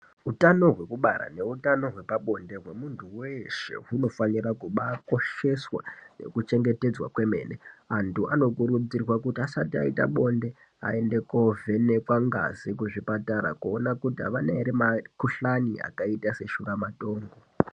Utano hwekubara neutano hwepabonde hwemuntu weshe hunofanira kubaakosheswa nekubachengetedzwa kwemene. Antu anokurudzirwa kuti asati aita bonded aende koovhenekwa ngazi kuona kuti avana ere makhuhlani akaita seshuramatongo